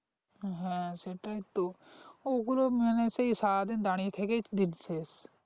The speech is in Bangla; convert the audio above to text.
হ্যাঁ সেটাই তো ও গুলো মানে সেই সারাদিন দাঁড়িয়ে থেকেই তো দিন শেষ।